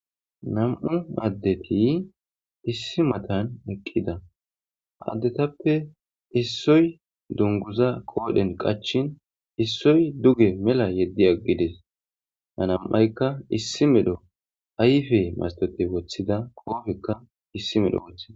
Nam'u addeti issi matan eqqida addetappe issoy dunguza qoodhen qachin issoy duge mela yeddi aggides hanam'aykka issi medho ayfe mastote woththida koofekka issi medho woththida.